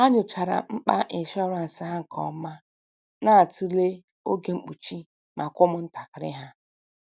Ha nyochara mkpa ịshọransị ha nke ọma, na-atụle oge mkpuchi maka ụmụntakịrị ha.